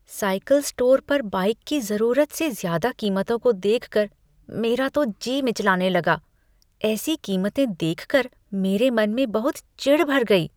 Cycle store पर bike की ज़रूरत से ज़्यादा कीमतों को देखकर मेरा तो जी मिचलाने लगा। ऐसी कीमतें देखकर मेरे मन में बहुत चिढ़ भर गई।